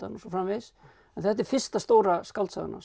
svo framvegis en þetta er fyrsta stóra skáldsagan hans